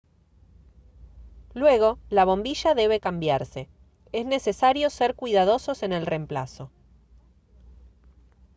luego la bombilla debe cambiarse es necesario ser cuidadosos en el reemplazo